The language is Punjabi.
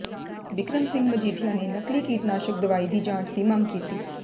ਬਿਕਰਮ ਸਿੰਘ ਮਜੀਠੀਆ ਨੇ ਨਕਲੀ ਕੀਟਨਾਸ਼ਕ ਦਵਾਈ ਦੀ ਜਾਂਚ ਦੀ ਮੰਗ ਕੀਤੀ